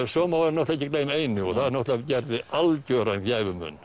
svo má ekki gleyma einu og það gerði algjöran